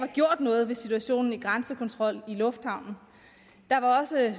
gjort noget ved situationen i grænsekontrollen i lufthavnen der var også